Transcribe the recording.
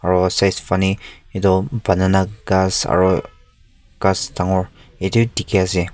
aru etu banana gass aru gass dekhi ase.